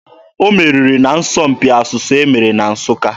O meriri n'asọmpi asụsụ e mere na Nsụka.